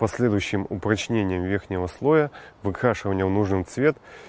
последующим упрочнением верхнего слоя выкрашиванием в нужный цвет